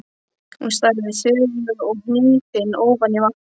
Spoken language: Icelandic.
Hún starði þögul og hnípin ofan í vatnið.